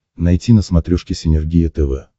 найти на смотрешке синергия тв